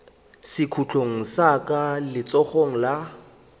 sekhutlong sa ka letsogong la